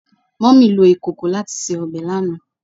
Mummy lo ikoko lati se obe lana